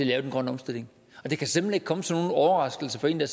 lave den grønne omstilling det kan simpelt hen ikke komme som nogen overraskelse for en der